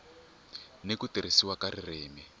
n ku tirhisiwa ka ririmi